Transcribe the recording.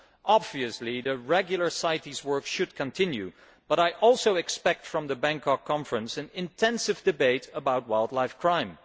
Obviously the regular CITES work should continue, but I also expect from the Bangkok conference an intensive debate about wildlife crime.